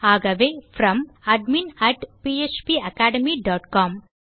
ஆகவே From admin phpacademycom